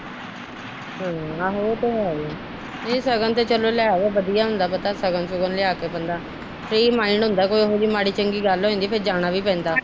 ਹਮ ਆਹੋ ਇਹ ਤੇ ਹੈ ਈ ਸ਼ਗਨ ਤਾ ਲੈ ਆਉ ਵਧੀਆਂ ਹੁੰਦਾ ਪਤਾ ਸ਼ਗਨ ਸ਼ੁਗਨ ਲਿਆ ਕੇ ਬੰਦਾ ਫ੍ਰੀ ਮਾਇਡ ਹੁੰਦਾ ਕੋਈ ਉਹੋ ਜੀ ਮਾੜੀ ਚੰਗੀ ਗੱਲ ਹੋ ਜਾਂਦੀ ਫਿਰ ਜਾਣਾ ਵੀ ਪੈਂਦਾ।